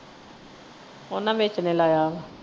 ਓਹਨਾ ਵੇਚਣੇ ਲਾਇਆ।